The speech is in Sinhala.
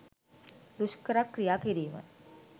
දුෂ්කර ක්‍රියා කිරීම